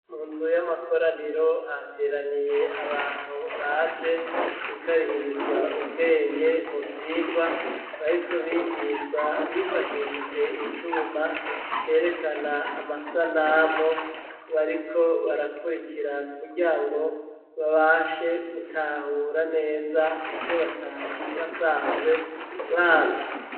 Munzu y'amakoraniro hateraniye abantu baje gukarihirizwa ubwenge mu vyigwa bariko bigishwa bifashishije icuma cerekana amasanamu bariko barakurikira kugira ngo babashe gutahura neza ibyo batari basanzwe bazi.